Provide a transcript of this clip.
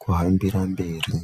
kuhambira mberi.